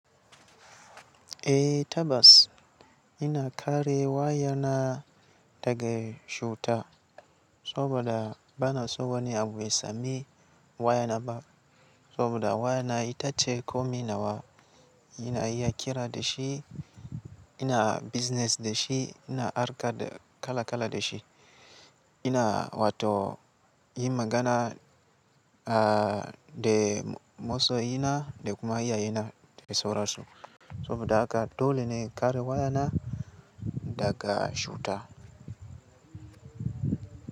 Eh tabbas ina kare wayana daga cuta saboda bana so wani abu ya sami wayana ba. Saboda wayana ita ce komi nawa ina iya kira da shi, ina business da shi, ina harka da, kala kala da shi, ina wato yin magana a da masoyina, da kuma iyayena da sauran su. Saboda haka dole ne in kare wayana daga cuta.